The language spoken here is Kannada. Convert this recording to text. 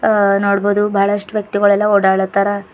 ಹ ನೋಡ್ಬೋದು ಬಹಳಷ್ಟು ವ್ಯಕ್ತಿಗಳೆಲ್ಲ ಓಡಾಡ್ಲತ್ತಾರ.